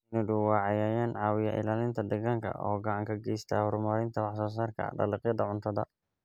Shinnidu waa cayayaan caawiya ilaalinta deegaanka oo gacan ka geysta horumarinta wax soo saarka dalagyada cuntada.